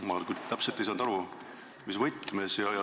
Ma küll ei saanud täpselt aru, mis võtmes.